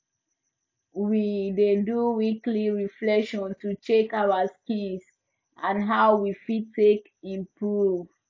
we dey do weekly reflection to check our skills and how we fit take improve